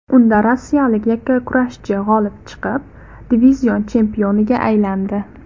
Unda rossiyalik yakkakurashchi g‘olib chiqib, divizion chempioniga aylandi .